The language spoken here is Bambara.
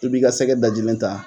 I b'i ka sɛgɛ dajilen ta.